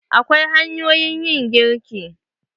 Akwai hanyoyin yin girki.